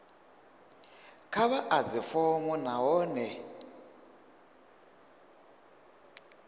kha vha ḓadze fomo nahone